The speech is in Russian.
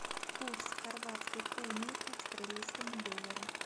курс хорватской куны к австралийскому доллару